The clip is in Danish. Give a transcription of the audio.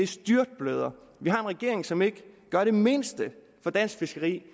styrtbløder vi har en regering som ikke gør det mindste for dansk fiskeri